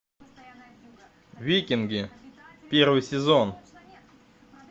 викинги первый сезон